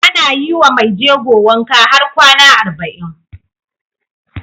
Ana yiwa Mai jego wanka har kwAna arba'in